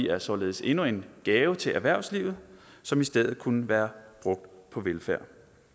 er således endnu en gave til erhvervslivet som i stedet kunne være brugt på velfærd